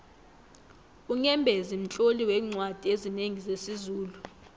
unyembezi mtloli weencwadi ezinengi zesizulu